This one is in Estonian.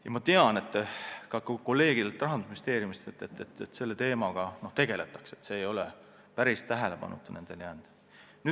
Ja ma tean Rahandusministeeriumi kolleegide käest, et selle teemaga tegeletakse, see ei ole neil päris tähelepanuta jäänud.